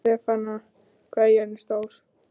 Stefana, hvað er jörðin stór?